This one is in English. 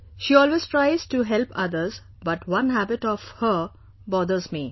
She always tries to help others, but one habit of hers amazes me